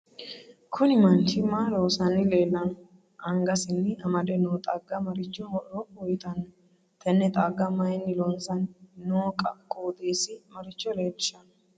Kuni manchi maa loosanni leelanno anggasini amade noo xagga marichi horo uyiitanno tenne xagga mayiini loonsani noo qoxeesi maricho leelshanno